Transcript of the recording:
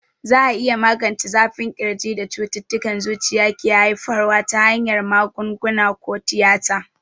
Za a iya magance zafin ƙirjin da cututtukan zuciya ke haifarwa ta hanyar magunguna ko tiyata.